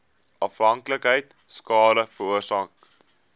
afhanklikheid skade veroorsaak